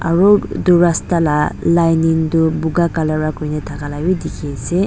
aru itu rasta la lining tu buka color wa kuri thaka wi dikhi ase.